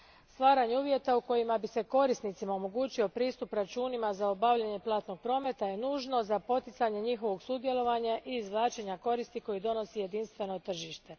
Stvaranje uvjeta u kojima bi se korisnicima omogućio pristup računima za obavljanje platnog prometa je nužno za poticanje njihovog sudjelovanja i izvlačenja koristi koju donosi jedinstveno tržište.